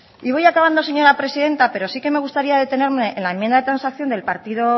y voy acabando señora presidenta pero sí que me gustaría detenerme en la enmienda de transacción